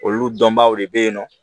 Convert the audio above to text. Olu dɔnbaaw de bɛ ye nɔ